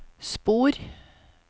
spor